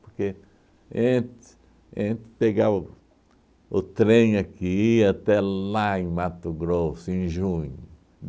Porque ente entre pagar o o trem que ia até lá em Mato Grosso, em junho.